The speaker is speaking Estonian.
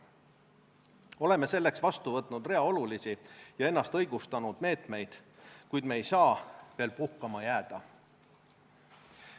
Oleme selleks vastu võtnud rea olulisi ja ennast õigustanud meetmeid, kuid me ei saa veel puhkama jääda.